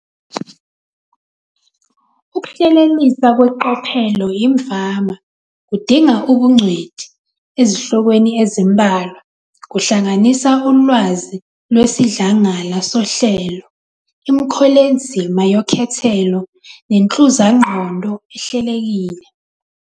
Ukuhlelelisa kweqophelo imvama kudinga ubungcweti ezihlokweni ezimbalwa, kuhlanganisa ulwazi lwesidlangala sohlelo, imikholezima yekhethelo, nenhluzangqondo ehlelekile.